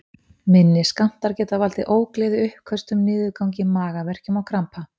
Minni skammtar geta valdið ógleði, uppköstum, niðurgangi, magaverkjum og krampa.